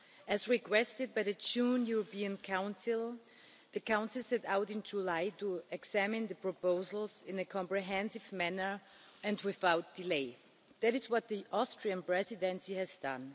As requested by the June European Council, the Council set out in July to examine the proposals in a comprehensive manner and without delay. That is what the Austrian Presidency has done.